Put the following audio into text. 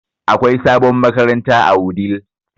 Akwai sabon makaranta a Wudil